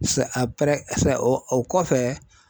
o kɔfɛ.